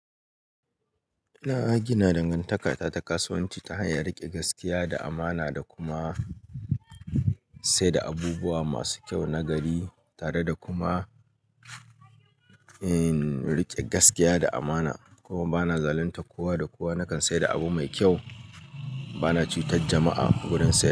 Na gina dangantaka ta kasuwanci ta hanyar riƙe gaskiya da amana, da kuma sai da abubuwa masu kyau na gari, tare da kuma riƙe gaskiya da amana. Kuma bana zaluntar kowa da kowa. Nakan saida abu mai kyau. Bana cutar jama'a wurin saya.